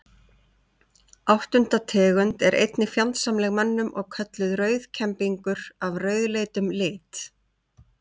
Áttunda tegund er einnig fjandsamleg mönnum og kölluð rauðkembingur af rauðleitum lit.